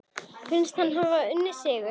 Finnst hann hafa unnið sigur.